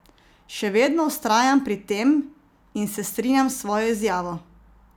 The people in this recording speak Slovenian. Še vedno vztrajam pri tem in se strinjam s svojo izjavo.